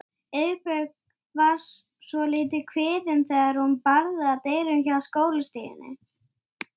Hún ætlar ekki að gráta.